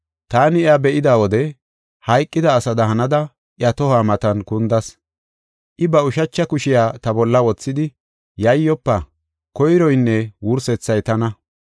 Taani iya be7ida wode hayqida asada hanada iya tohuwa matan kundas. I ba ushacha kushiya ta bolla wothidi, “Yayyofa; Koyroynne Wursethay tana.